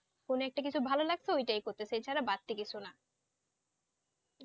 কোনো একটা কিছু ভালো লাগছে ওটা করতেছে এছাড়া বাড়তি কিছু না